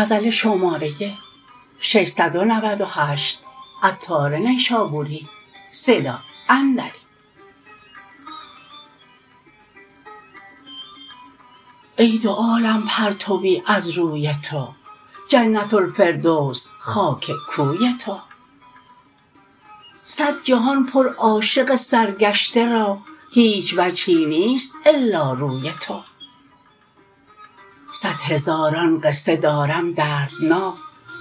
ای دو عالم پرتوی از روی تو جنت الفردوس خاک کوی تو صد جهان پر عاشق سرگشته را هیچ وجهی نیست الا روی تو صد هزارن قصه دارم دردناک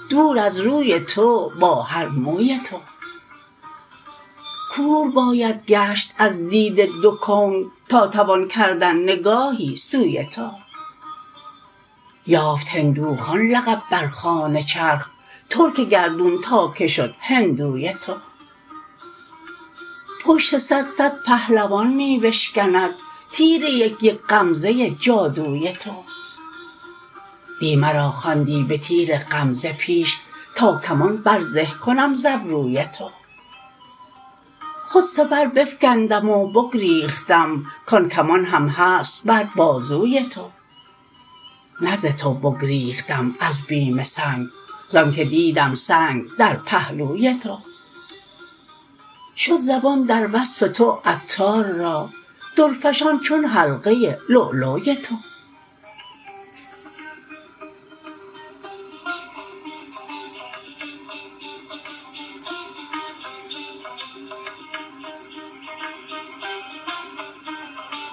دور از روی تو با هر موی تو کور باید گشت از دید دو کون تا توان کردن نگاهی سوی تو یافت هندوخان لقب بر خوان چرخ ترک گردون تا که شد هندوی تو پشت صد صد پهلوان می بشکند تیر یک یک غمزه جادوی تو دی مرا خواندی به تیر غمزه پیش تا کمان بر زه کنم ز ابروی تو خود سپر بفکندم و بگریختم کان کمان هم هست بر بازوی تو نه ز تو بگریختم از بیم سنگ زانکه دیدم سنگ در پهلوی تو شد زبان در وصف تو عطار را درفشان چون حلقه لؤلؤی تو